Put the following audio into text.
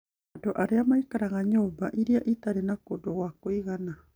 Andũ arĩa maikaraga nyũmba irĩa itarĩ na kũndũ gwa kũigana